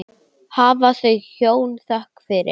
Hafi þau hjón þökk fyrir.